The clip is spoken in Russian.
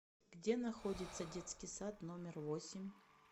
где находится детский сад номер восемь